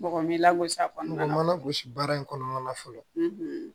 Mɔgɔ min lagosi kɔni o ma lagosi baara in kɔnɔna na fɔlɔ